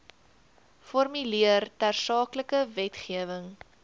formuleer tersaaklike wetgewing